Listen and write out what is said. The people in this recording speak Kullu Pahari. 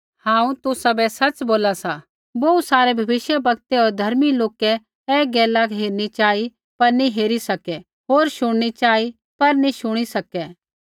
हांऊँ तुसाबै सच़ बोला सा बोहू सारै भविष्यवक्तै होर धर्मी लोकै ऐ गैला हेरनी चाही पर नी हेरी सकै होर शुणनी चाही पर नी शुणी सकै